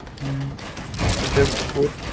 હમ એટલે બહુ